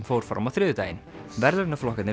fór fram á þriðjudaginn